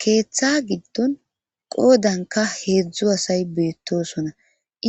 Keeththa giddon qoodanka heedzdzu asay beettosona